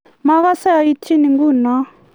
magase aitchi ng'uno